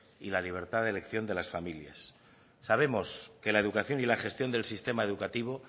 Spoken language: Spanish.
y la libertad de elección de las familias sabemos que la educación y la gestión del sistema educativo